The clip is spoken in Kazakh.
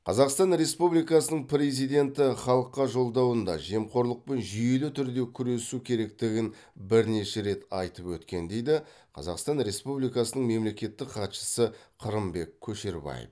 қазақстан республикасының президенті халыққа жолдауында жемқорлықпен жүйелі түрде күресу керектігін бірнеше рет айтып өткен дейді қазақстан республикасының мемлекеттік хатшысы қырымбек көшербаев